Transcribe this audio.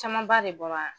Camanba de bɔra